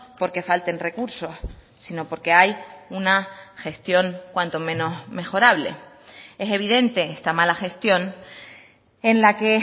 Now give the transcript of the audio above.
porque falten recursos sino porque hay una gestión cuanto menos mejorable es evidente esta mala gestión en la que